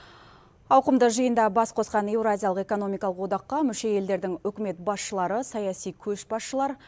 ауқымды жиында бас қосқан еуразиялық экономикалық одаққа мүше елдердің үкімет басшылары саяси көшбасшылар